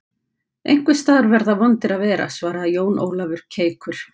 Einhvers staðar verða vondir að vera, svaraði Jón Ólafur keikur.